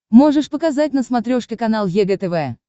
можешь показать на смотрешке канал егэ тв